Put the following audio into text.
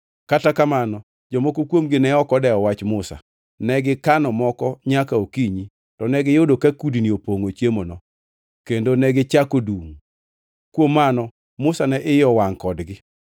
Kata kamano, jomoko kuomgi ne ok odewo wach Musa, negikano moko nyaka okinyi, to negiyudo ka kudni opongʼo chiemono kendo negichako dungʼ. Kuom mano Musa ne iye owangʼ kodgi.